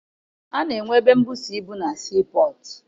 Ana enwe ebe mbusa ibu na sii pọtụ.